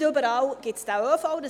Nicht überall gibt es diesen ÖV.